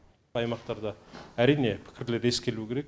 аймақтарда әрине пікірлер ескерілу керек